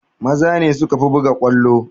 Maza ne sukafi buga ƙwallo